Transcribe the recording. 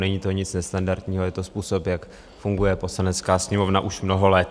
Není to nic nestandardního, je to způsob, jak funguje Poslanecká sněmovna už mnoho let.